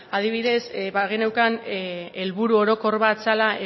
adibidez bageneukan helburu orokor bat zela